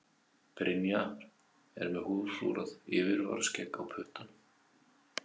Brynjar er með húðflúrað yfirvaraskegg á puttanum.